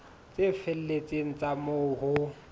tse felletseng tsa moo ho